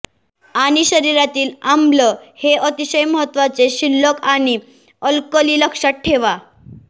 आणि शरीरातील आम्ल हे अतिशय महत्वाचे शिल्लक आणि अल्कली लक्षात ठेवा